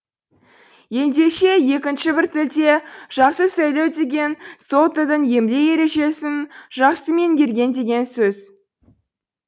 ендеше екінші бір тілде жақсы сөйлеу деген сол тілдің емле ережесін жақсы меңгерген деген сөз